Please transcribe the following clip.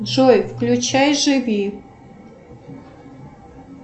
джой включай живи